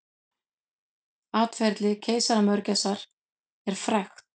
Atferli keisaramörgæsar er frægt.